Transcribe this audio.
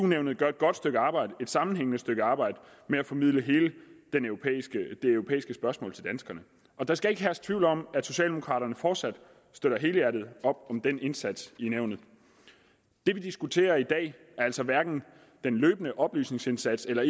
nævnet gør et godt stykke arbejde et sammenhængende stykke arbejde med at formidle hele det europæiske spørgsmål til danskerne og der skal ikke herske tvivl om at socialdemokraterne fortsat støtter helhjertet op om den indsats i nævnet det vi diskuterer i dag er altså hverken den løbende oplysningsindsats eller